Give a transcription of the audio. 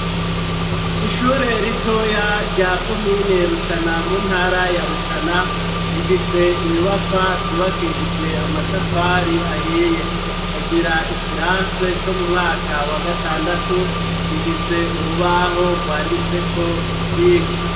Ishure ritoya rya komine Rutana mu ntara ya Rutana, rifise inyubakwa zubakishijwe amatafari ahiye, ikagira ikirase co mu mwaka wa gatandatu gifise urubaho rwanditseko ivyigwa.